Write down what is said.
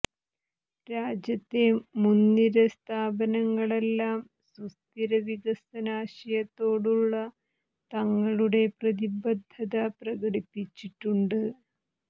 രാജ്യത്തെ മുന്നിര സ്ഥാപനങ്ങളെല്ലാം സുസ്ഥിര വികസന ആശയത്തോടുള്ള തങ്ങളുടെ പ്രതിബദ്ധത പ്രകടിപ്പിച്ചിട്ടുണ്ട്